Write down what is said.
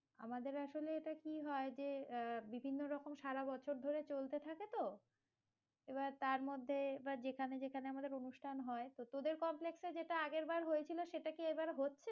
আমাদের আসলে এটা কি হয় যে, আহ বিভিন্ন রকম সারা বছর ধরে চলতে থাকে তো, এবার তার মধ্যে এবার যেখানে যেখানে আমাদের অনুষ্ঠান হয়, তো তোদের complex এ যেটা আগের বার হয়েছিল, সেটা কি এবার হচ্ছে?